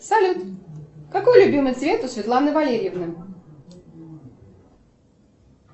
салют какой любимый цвет у светланы валерьевны